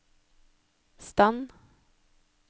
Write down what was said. stand